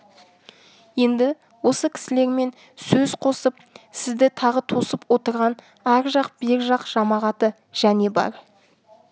енді осы кісілермен сөз қосып сізді тағы тосып отырған ар жақ бер жақ жамағаты және бар